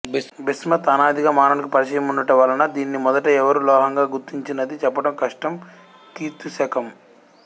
bismuth అనాదిగా మానవునికి పరిచయముండుట వలన దీనిని మొదట ఎవరు లోహంగా గుర్తించినది చెప్పటం కష్టం క్రీ శ